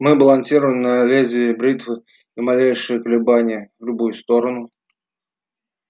мы балансируем на лезвии бритвы и малейшее колебание в любую сторону